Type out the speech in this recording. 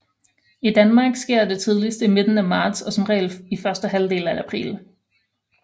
I Danmark sker det tidligst i midten af marts og som regel i første halvdel af april